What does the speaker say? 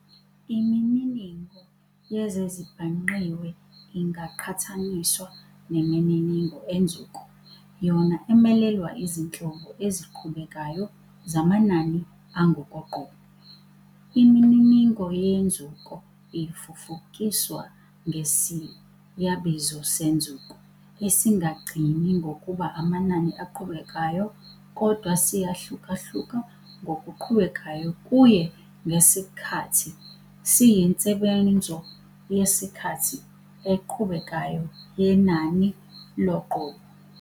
Imininingo yezezibhangqiwe ingaqhathaniswa nemininingo enzuko, yona emelelwa izinhlobo eziqhubekayo zamanani angokoqobo. Imininingo yenzuko ifufukiswa ngesiyabizo senzuko, esingagcini ngokuba amanani aqhubekayo, kodwa siyahlukahluka ngokuqhubekayo kuye ngesikhathi, siyinsebenzo yesikhathi eqhubekayo yenani-loqobo.